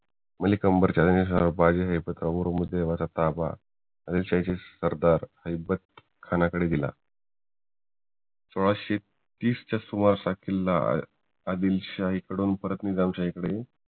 मलीकंबर च्या ब्रम्हगडाचा ताबा आदिलशाही सरदार ऐबत खानकडे गेला सोळाशे तीसच्या सुमारास हा किल्ला आदिलशाही कडून परत निजामशाही कडे